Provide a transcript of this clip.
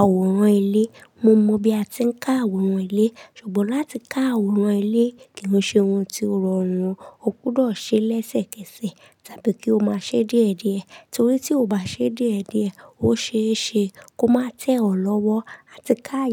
àwòrán ilé? Mo mọ bí a ti ń ka àwòrán ilé, ṣùgbọ́n láti ka àwòrán ilé kì í ṣe ohun tí ó rọrùn. O kúdọ̀ ṣe lẹ́sẹ́kẹsẹ̀ tábí kí o máa ṣe díẹ̀díẹ̀ torí tí o bá ṣe díẹ̀díẹ̀, ó ṣe é ṣe kó má tẹ ọ̀ lọ́wọ́ láti káa.